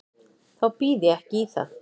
Þá býð ég ekki í það.